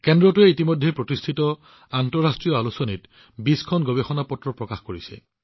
কেন্দ্ৰটোৱে ইতিমধ্যে প্ৰতিষ্ঠিত আন্তঃৰাষ্ট্ৰীয় আলোচনীত ২০খন কাকত প্ৰকাশ কৰিছে